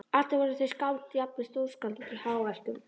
Allir voru þeir skáld, jafnvel stórskáld- í hjáverkum.